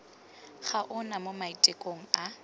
ga ona mo maitekong a